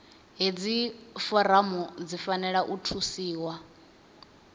hedzi foramu dzi fanela u thusiwa